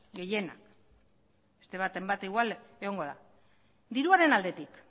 gehienak beste baten bat igual egongo da diruaren aldetik